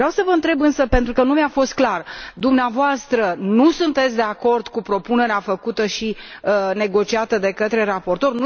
Vreau să vă întreb însă, pentru că nu mi a fost clar dumneavoastră nu sunteți de acord cu propunerea făcută și negociată de către raportor?